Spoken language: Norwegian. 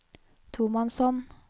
tomannshånd